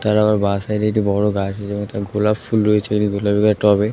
তার আবার বা সাইড -এ একটি বড়ো গাছের মতন গোলাপ ফুল রয়েছে তবে ।